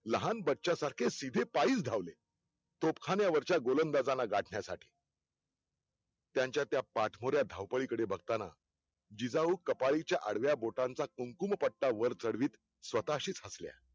लहान बच्च्या सारखे सीधे पाईच धावले तोफखान्यावरच्या गोलांदाजाना गाठण्यासाठी. त्यांच्या त्या पाठमोऱ्या धावपकडीकडे बघतांना, जिजाऊ कपाळीच्या आडव्या बोटांच्या कुमकुमपट्टा वर चढवीत स्वतःशीच हसल्या.